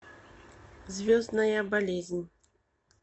звездная болезнь